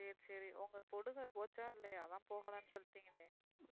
சரி சரி பொடுகு போச்சா இல்லியா போன வரம் சொநீங்களே,